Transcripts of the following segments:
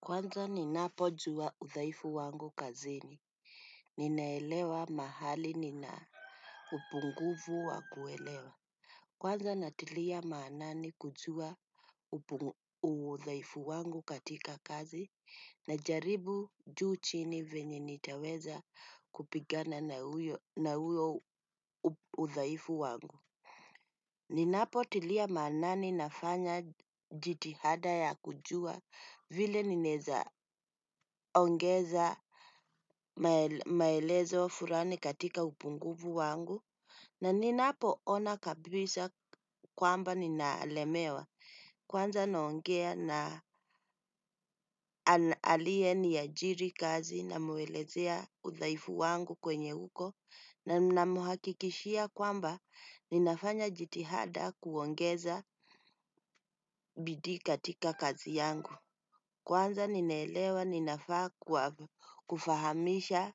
Kwanza ni napo jua uthaifu wangu kazini. Ninaelewa mahali nina upunguvu wa kuelewa. Kwanza natilia maanani kujua uthaifu wangu katika kazi na jaribu juu chini venye nitaweza kupigana na huyo uthaifu wangu. Ninapo tilia maanani nafanya jitihada ya kujua vile nineza ongeza maelezo furani katika upunguvu wangu. Na ninapo ona kabisa kwamba ninaalemewa kwanza naongea na aliye ni ajiri kazi na muelezea uthaifu wangu kwenye uko. Na namuhakikishia kwamba ninafanya jitihada kuongeza bidiika tika kazi yangu. Kwanza ninaelewa ninafaa kufahamisha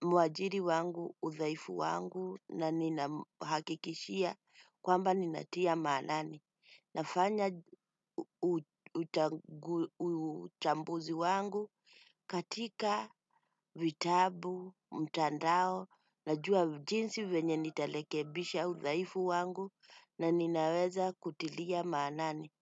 muajiri wangu, uthaifu wangu na ninamhakikishia kwamba ninatia maanani. Nafanya uchambuzi wangu katika vitabu, mtandao na jua jinsi venye nita lekebisha uthaifu wangu na ninaweza kutilia maanani.